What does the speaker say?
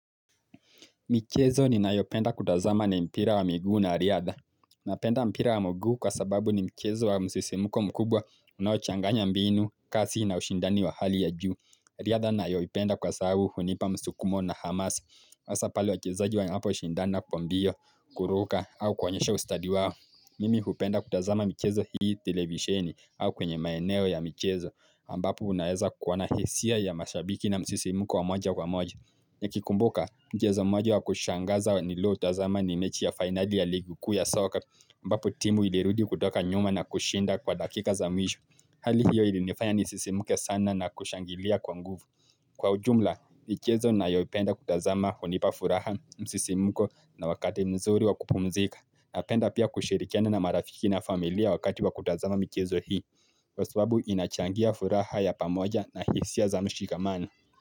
Michezo ninayopenda kutazama na mpira wa miguu na riadha Napenda mpira wa mguu kwa sababu ni michezo wa msisimuko mkubwa unaochanganya mbinu, kasi na ushindani wa hali ya juu riadha ninayopenda kwa sababu hunipa msukumo na hamasa hasa pale wachezaji wanapo shindana kwa mbio, kuruka au kuonyesha ustadi wao Mimi hupenda kutazama michezo hii televisheni au kwenye maeneo ya michezo ambapo unaeza kuona hisia ya mashabiki na msisimuko wa moja kwa moja. Nikikumbuka, mchezo moja wa kushangaza nilioutazama ni mechi ya finali ya ligi kuu ya soccer ambapo timu ilirudi kutoka nyuma na kushinda kwa dakika za mwisho Hali hiyo ilinifanya nisisimuke sana na kushangilia kwa nguvu. Kwa ujumla, michezo nayoipenda kutazama hunipa furaha msisimuko na wakati mzuri wa kupumzika Napenda pia kushirikiana na marafiki na familia wakati wa kutazama mjezo hii kwa sababu inachangia furaha ya pamoja na hisia za mshikamano.